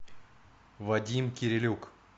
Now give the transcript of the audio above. вадим кирилюк